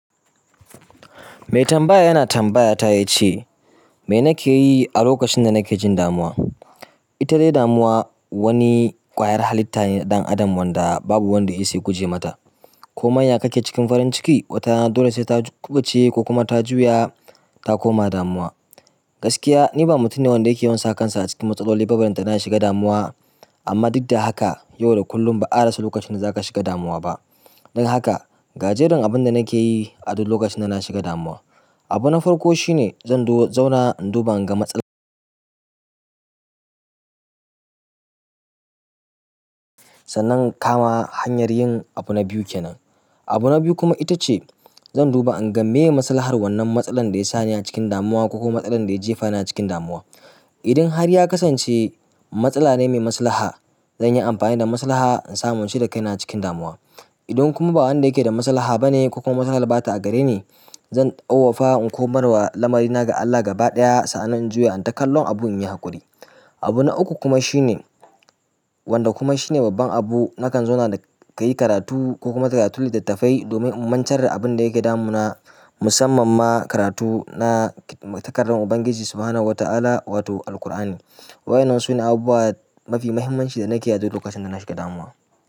Mai tambaya yana tambayata ya ce, "Me nake yi a lokacin da nake jin damuwa?" ita dai damuwa, wani ƙwayar halitta ne na ɗan adam wanda babu wanda ya isa ya guje mata. Ko manya kake cikin farin ciki, watana dole sai ta kubuce ko kuma ta juya ta koma damuwa. Gaskiya ni ba mutum ne wanda yake yawan sa kansa a cikin matsaloli ba balantana na shiga damuwa, amma duk da haka, yau da kullum ba'a rasa lokacin da za ka shiga damuwa ba. Don haka, gajerin abin da nake yi a duk lokacin da na shiga damuwa, abu na farko shine zan zauna in duba in ga matsalar. Sannan kama hanyar yin abu na biyu kenan. Abu na biyu kuma ita ce zan duba in ga meye maslahar wannan matsalar da ya sa ni a cikin damuwa ko kuma matsalar da ya jefa ni a cikin damuwa. Idan har ya kasance matsala ne mai maslaha, zan yi amfani da maslaha insamu icire kaina a cikin damuwa. Idan kuma ba wanda yake da maslaha ba ne ko kuma matsalar ba ta a gare ne, zan tsawafa in komar wa lamari na ga Allah gaba ɗaya sannan in juya in taƙallon abun inyi haƙuri. Abu na uku kuma shine, wanda kuma shine babban abu, nakan zauna ka yi karatu ko kuma karatun littattafai domin in mantar da abin da yake damu na. Musamman ma karatu na takardun Ubangiji subhanahu wata'ala wato AlKur'ani wa'yannan sune abubuwa mafi muhimmanci dana keyi aduk lokacin da nashiga damuwa.